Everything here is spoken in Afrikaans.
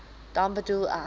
dan bedoel ek